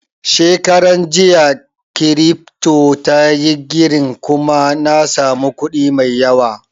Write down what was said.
Shekaran jiya kiripto tayi girin kuma na samu kuɗi mai yawa